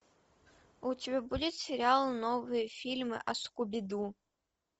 у тебя будет сериал новые фильмы о скуби ду